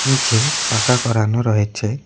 নীচে পাকা করানো রয়েচে।